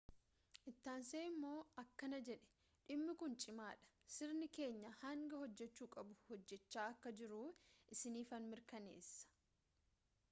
ittaansee immoo akkana jedhe dhimmi kun cimaadha sirni keenya hanga hojjechuu qabu hojjechaa akka jiru isiniifan mirkaneessa